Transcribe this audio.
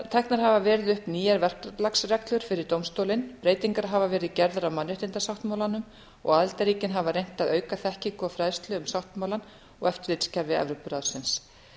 teknar hafa verið upp nýjar verklagsreglur fyrir dómstólinn breytingar hafa verið gerðar á mannréttindasáttmálanum og aðildarríkin hafa reynt að auka þekkingu og fræðslu um sáttmálann og eftirlitskerfi evrópuráðsins